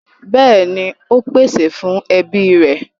Bẹ́ẹ̀ni, ó pèsè fún ẹbí rẹ̀.